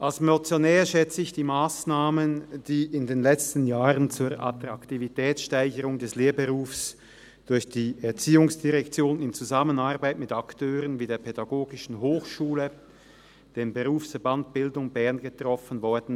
Als Motionär schätze ich die Massnahmen sehr, die in den letzten Jahren zur Attraktivitätssteigerung des Lehrberufs durch die ERZ im Zusammenarbeit mit Akteuren wie der Pädagogischen Hochschule (PH) und dem Berufsverband Bildung Bern getroffen wurden.